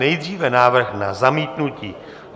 Nejdříve návrh na zamítnutí.